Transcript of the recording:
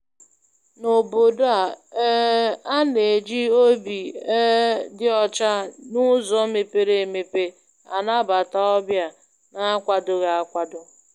N' Obodo a, um a na-eji obi um dị ọcha na uzo mepere emepe anabata ndị ọbịa na-akwadoghi akwado.